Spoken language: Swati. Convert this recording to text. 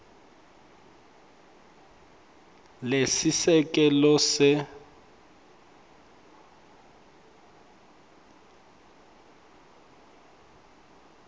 lesiseke lo lesekela